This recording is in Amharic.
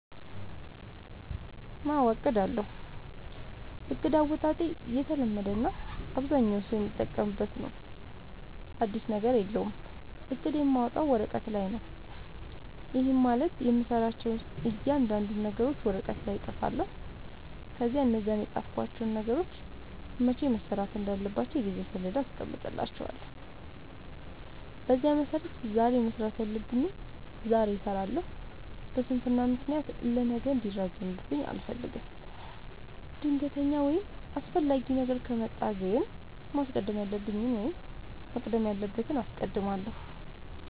አዎ አቅዳለሁ። እቅድ አወጣጤ የተለመደ እና አብዛኛው ሠው የሚጠቀምበት ነው። አዲስ ነገር የለውም። እቅድ የማወጣው ወረቀት ላይ ነው። ይህም ማለት የምሠራቸውን እያንዳንዱን ነገሮች ወረቀት ላይ እፅፋለሁ። ከዚያ እነዛን የፃፍኳቸውን ነገሮች መቼ መሠራት እንዳለባቸው የጊዜ ሠሌዳ አስቀምጥላቸዋለሁ። በዚያ መሠረት ዛሬ መስራት ያለብኝን ዛሬ እሠራለሁ። በስንፍና ምክንያት ለነገ እንዲራዘምብኝ አልፈልግም። ድንገተኛ ወይም አስፈላጊ ነገር ከመጣ ግን ማስቀደም ያለብኝን ወይም መቅደም ያለበትን አስቀድማለሁ።